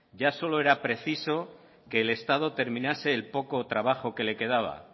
ya solo era preciso que el estado terminase el poco trabajo que le quedaba